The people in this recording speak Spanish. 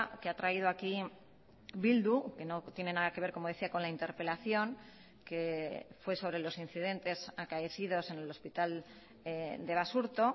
que ha traído aquí bildu que no tiene nada que ver como decía con la interpelación que fue sobre los incidentes acaecidos en el hospital de basurto